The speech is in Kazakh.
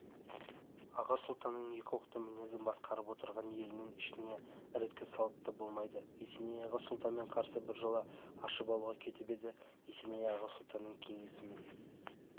аға сұлтанның екі оқты мінезі басқарып отырған елінің ішіне ірткі салып та болды есеней аға сұлтанмен арасын біржола ашып алуға кетіп еді есеней аға сұлтан кеңесінің